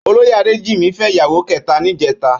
Ólóyé Adejimi fè iyàwó kètá nijètá